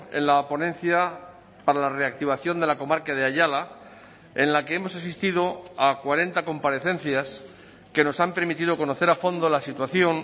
en la ponencia para la reactivación de la comarca de ayala en la que hemos asistido a cuarenta comparecencias que nos han permitido conocer a fondo la situación